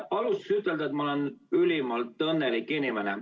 Alustuseks ütlen, et ma olen ülimalt õnnelik inimene.